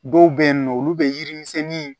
Dɔw bɛ yen nɔ olu bɛ yiri misɛnnin